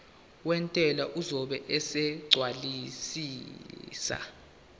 wentela uzobe esegcwalisa